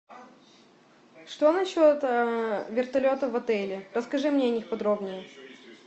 что насчет вертолета в отеле расскажи мне о них подробнее